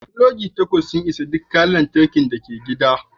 Pulogi takwas za su isa ga duk kayan lantarki da ke cikin gida